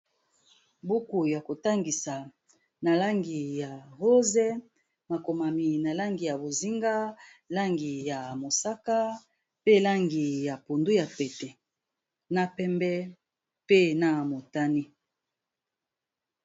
Buku ya kotangisa na langi ya rose, makomami na langi ya bozinga, langi ya mosaka, pe langi ya pondu ya pete, na pembe pe na motani.